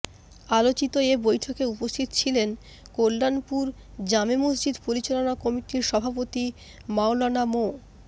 আলোচিত এ বৈঠকে উপস্থিত ছিলেন কল্যাণপুর জামে মসজিদ পরিচালনা কমিটির সভাপতি মাওলানা মো